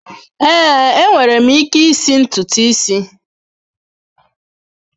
Ee, enwere m ike isi ntutu isi.